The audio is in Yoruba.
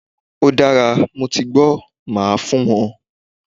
Ódára, motigbọ́, máa fun won